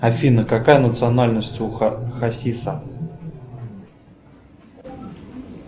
афина какая национальность у хасиса